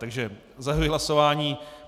Takže zahajuji hlasování.